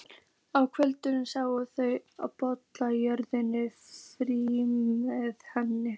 Á kvöldin sátu þau og bollalögðu framtíð hennar.